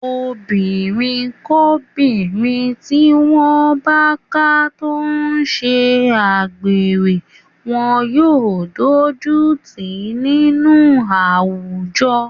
Obìnrinkóbìnrin tí wọ́n bá ká tó ń ṣe agbèrè wọn yóò dójú tì í nínú àwùjọ.